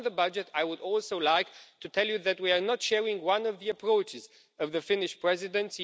On the budget, I would also like to tell you that we do not share one of the approaches of the Finnish Presidency.